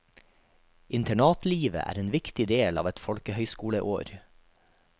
Internatlivet er en viktig del av et folkehøgskoleår.